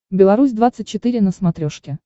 беларусь двадцать четыре на смотрешке